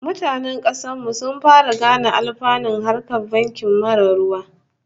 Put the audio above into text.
Mutanen kasar mu sun fara gane alfanun harkar banki marar ruwa